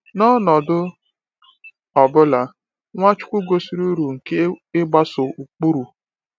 N’ọnọdụ ọ bụla, Nwachukwu gosiri uru nke ịgbaso ụkpụrụ.